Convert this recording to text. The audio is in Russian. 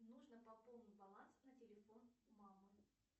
нужно пополнить баланс на телефон мамы